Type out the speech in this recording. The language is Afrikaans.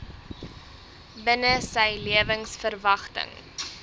binne sy lewensverwagting